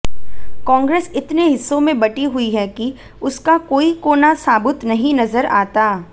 कांग्रेस इतने हिस्सों में बंटी हुई है कि उसका कोई कोना साबुत नहीं नजर आता